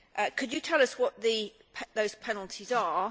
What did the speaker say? Could you tell us what those penalties are?